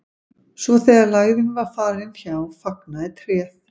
svo þegar lægðin var farin hjá fagnaði tréð